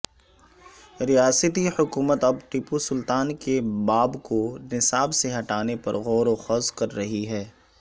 ریاستی حکومت اب ٹیپوسلطان کے باب کو نصاب سے ہٹانے پر غوروخوض کر رہی ہے